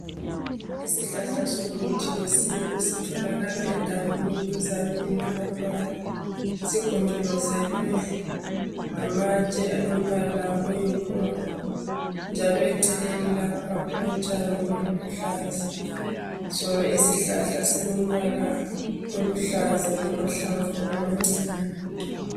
Isihlahla somuthi wesintu sitholakala egangeni duzane lamadwala. Sigonjolozelwe ngamatshe alombala oyimpunga njalo eceleneni lapha kulotshani obuluhlaza, Sona isihlahla silombala oluhlaza lamahlamvu amancinyane.